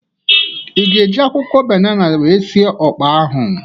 Ị ga-eji akwụkwọ banana wee sị ọkpa ahụ?